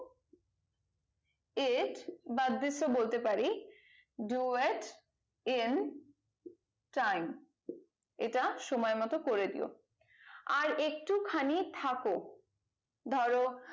it বাদ দিয়ে বলতে পারি do it in time এটা সময় মতো করে দিয়ো আর একটু খানিক থাকো ধরো